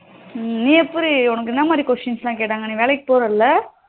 நீ எப்படி டி உனக்கு என்ன மாறி questions லாம் கேட்டாங்க நீ வேலைக்கு போரல